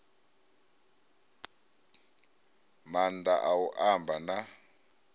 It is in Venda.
maanḓa a u amba na